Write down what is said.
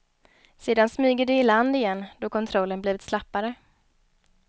Sedan smyger de i land igen, då kontrollen blivit slappare.